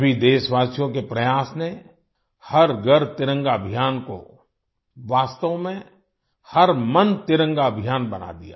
सभी देशवासियों के प्रयास ने हर घर तिरंगा अभियान को वास्तव में हर मन तिरंगा अभियान बना दिया